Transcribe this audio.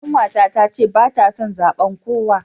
Kanwata tace bata son zaben kowa.